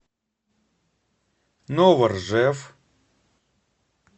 новоржев